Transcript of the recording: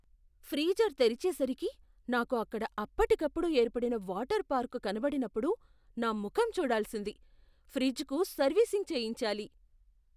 Freezer తెరిచేసరికి, నాకు అక్కడ అప్పటికప్పుడు ఏర్పడిన వాటర్ పార్కు కనబడినప్పుడు నా ముఖం చూడాల్సింది. ఫ్రిజ్కు సర్వీసింగ్ చేయించాలి.